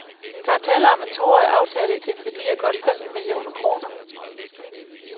Der er tale om en toårig aftale til en værdi af godt femten millioner kroner.